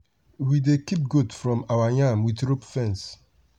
we dey keep goat from our yam farm with rope fence.